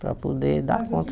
Para poder dar conta.